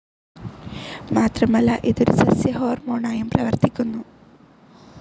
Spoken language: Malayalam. മാത്രമല്ല ഇത് ഒരു സസ്യ ഹോ‍ർമോണായും വർത്തിക്കുന്നു.